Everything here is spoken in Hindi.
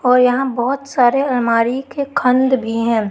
और यहां बहोत सारे अलमारी के खंड भी हैं।